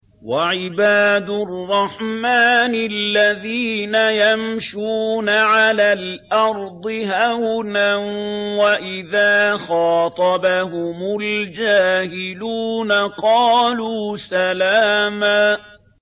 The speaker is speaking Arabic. وَعِبَادُ الرَّحْمَٰنِ الَّذِينَ يَمْشُونَ عَلَى الْأَرْضِ هَوْنًا وَإِذَا خَاطَبَهُمُ الْجَاهِلُونَ قَالُوا سَلَامًا